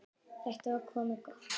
Þetta var komið gott.